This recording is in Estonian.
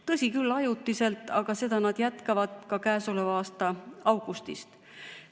Tõsi küll, ajutiselt, aga nad jätkavad seda ka käesoleva aasta augustist.